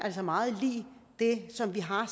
meget lig det som vi har